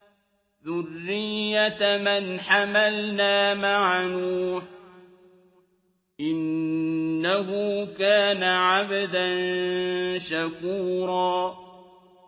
ذُرِّيَّةَ مَنْ حَمَلْنَا مَعَ نُوحٍ ۚ إِنَّهُ كَانَ عَبْدًا شَكُورًا